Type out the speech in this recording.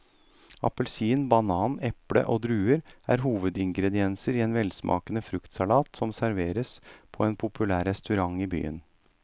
Appelsin, banan, eple og druer er hovedingredienser i en velsmakende fruktsalat som serveres på en populær restaurant i byen.